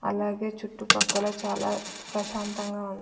అలాగే చుట్టుపక్కల చాలా ప్రశాంతంగా ఉంది.